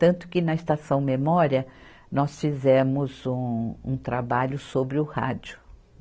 Tanto que, na Estação Memória, nós fizemos um, um trabalho sobre o rádio.